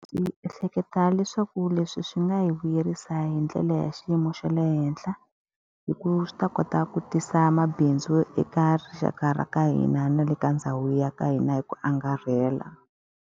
Ndzi ehleketa leswaku leswi swi nga hi vuyerisa hi ndlela ya xiyimo xa le henhla. Hikuva swi ta kota ku tisa mabindzu eka rixaka ra ka hina na le ka ndhawu ya ka hina hi ku angarhela.